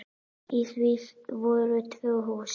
Í því voru tvö hús.